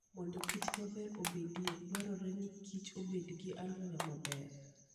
Mondo Kich maber obedie, dwarore ni Kich obed gi alwora maber.